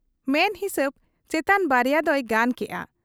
ᱢᱮᱱ ᱦᱤᱥᱟᱹᱵᱽ ᱪᱮᱛᱟᱱ ᱱᱟᱨᱭᱟ ᱫᱚᱭ ᱜᱟᱱ ᱠᱮᱜ ᱟ ᱾